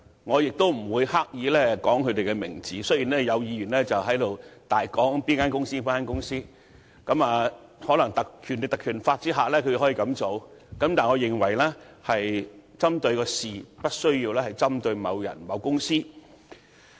我不會刻意說出顧問公司的名稱，雖然有議員在此肆意引述顧問公司的名稱，這或因他們認為在《立法會條例》下可以這樣做，但我認為只須針對事情，而無須針對某人、某公司。